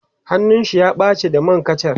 hannun shi ya ɓace da man kacha